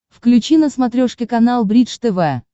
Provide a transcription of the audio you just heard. включи на смотрешке канал бридж тв